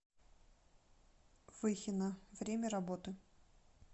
выхино время работы